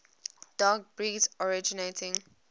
dog breeds originating